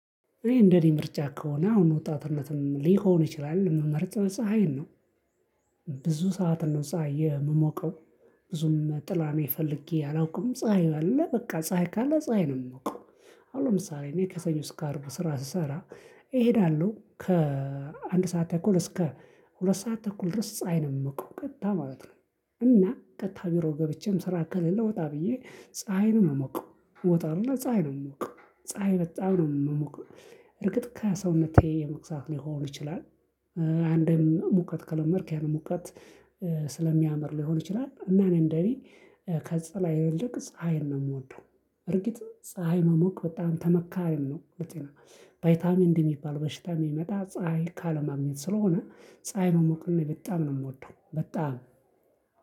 እኔ እንደኔ ምርጫ ከሆነ አሁን ወጣትነትም ሊሆን ይችላል የምመርጥ ፀሀይን ነው ብዙ ሰዓት ነው ፀሀይ የምሞቀው። ብዙም ጥላ እኔ ፈልጌ አላውቅም። ፀሀይ አለ በቃ ፀሀይ ካለ ፀሀይ ነው የምሞቀው። አሁን ለምሳሌ እኔ ከሰኞ እስከ አርብ ስራ ስሰራ እሄዳለሁ ከአንድ ሰዓት ተኩል እስከ ሁለት ሰዓት ተኩል ድረስ ፀሀይ ነው ምሞቀው ቀጥታ ማለት ነው። እና ቀጥታ ቢሮ ገብቼም ስራ ከሌለ ወጣ ብዬ ፀሀይን ነው ምሞቀው። ወጣ እልና ፀሀይ ነው ምሞቀው ፀሀይ በጣም ነው ምሞቀው። እርግጥ ከሰውነቴ መክሳት ሊሆን ይችላል አንድም ሙቀት ከለመድክ ያንን ሙቀት ስለሚያምር ሊሆን ይችላል እና እኔ እንደኔ ከጥላ ይልቅ ፀሀይን ነው የምወደው እርግጥ ፀሀይ መሞቅ በጣም ተመካሪ ነው። በጤና ቫይታሚን ዲ የሚባል በሽታ የሚመጣ ፀሀይ ካለማግኘት ስለሆነ ፀሀይ መሞቅን እኔ በጣም ነው የምወደው በጣም